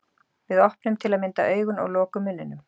Við opnum til að mynda augun og lokum munninum.